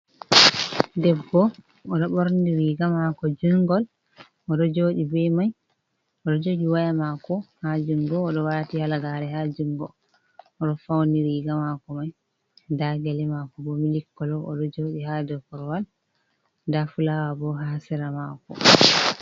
Debbo oɗo ɓorni riga mako jungol oɗo joɗi ɓe mai oɗo jogi waya mako ha jungo oɗo wati halaga're ha jungo, oɗo fauni riga mako mai nɗa gele mako bo milik kolo oɗo joɗi ha dou korwal nɗa fulawa bo ha sera mako.